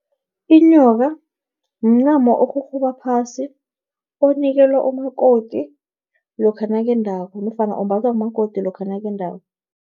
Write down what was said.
Inyoka, mncamo orhurhuba phasi onikelwa umakoti, lokha nakendako, nofana umbathwa ngumakoti lokha nakendako.